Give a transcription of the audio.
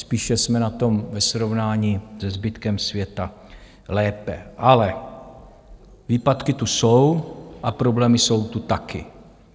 Spíše jsme na tom ve srovnání se zbytkem světa lépe, ale výpadky tu jsou a problémy jsou tu taky.